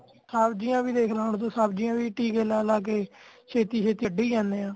ਸਬਜ਼ੀਆਂ ਵੀ ਦੇਖ ਲੈ ਹੁਣ ਤੂੰ ਸਬਜ਼ੀਆਂ ਵੀ ਟਿੱਕੇ ਲਾ ਲਾ ਕੇ ਛੇਤੀ ਛੇਤੀ ਕੱਢੀ ਜਾਣੇ ਆ